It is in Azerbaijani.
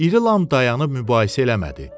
İri Lam dayanıb mübahisə eləmədi.